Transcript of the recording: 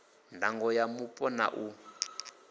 ndango ya mupo na u